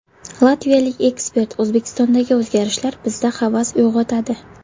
Latviyalik ekspert: O‘zbekistondagi o‘zgarishlar bizda havas uyg‘otadi.